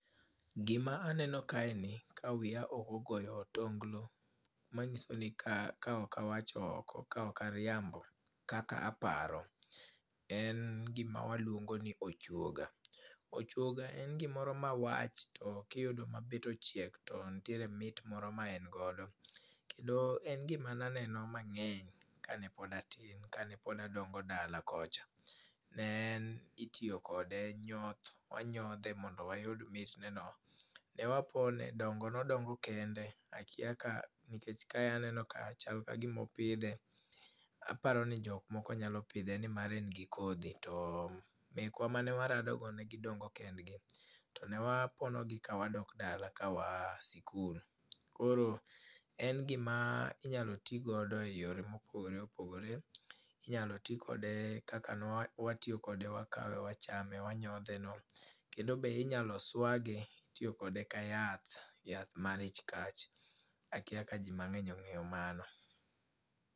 Gima aneno kae ni, ka wiya ok ogoyo otonglo, manyisoni ka ka ok awacho oko, ka ok ariambo, kaka aparo, en gima waluongoni ochuoga. Ochuoga en gimoro ma wach, to kiyudo ma bit ochiek, to ntiere mit moro ma en godo. Kendo en gima ne aneno mangény kane pod atin, kane pod adongo dala kocha. Ne en itiyo kode nyoth, wanyodhe mondo wayud mitneno. Ne wapone, dongo ne odongo kende, akia ka nikech kae aneno ka chal ka gima opidhe. Aparo ni jok moko nyalo pidhe, ni mar en gi kodhi, to mekwa mane warado godo negidongo kendgi. To ne waponogi ka wadok dala ka waa sikul. Koro en gima inyalo ti godo e yore mopogore opogore. Inyalo ti kode kaka ne wa wa tiyo kode. Wakawe wachame, wanyodheno. Kendo be inyalo swage, itiyo kode ka yath, yath mar ich kach, akia ka ji mangény ongéyo mano.